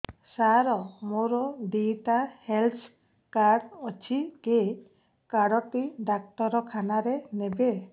ସାର ମୋର ଦିଇଟା health card ଅଛି କେ କାର୍ଡ ଟି ଡାକ୍ତରଖାନା ରେ ନେବେ